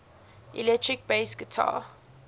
electric bass guitar